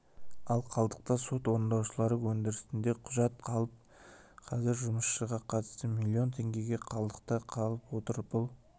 ал қалдықта сот орындаушылардың өндірісінде құжат қалып қазір жұмысшыға қатысты миллион теңге қалдықта қалып отыр бұл